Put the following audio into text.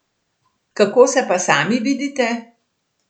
Kako se pa sami vidite?